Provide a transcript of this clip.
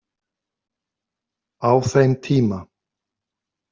Á þeim tíma.